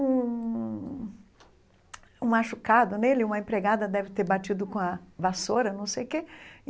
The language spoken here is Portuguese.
um um machucado nele, uma empregada deve ter batido com a vassoura, não sei o quê.